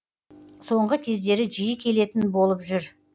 соңғы кездері жиі келетін болып жүр